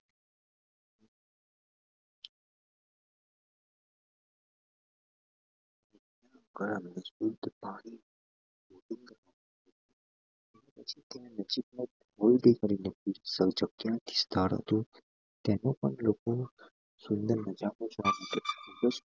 નજીક નો ત્યાં થી અમે લોકો